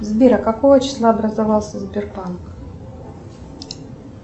сбер а какого числа образовался сбербанк